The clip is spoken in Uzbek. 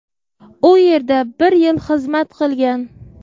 U yerda bir yil xizmat qilgan.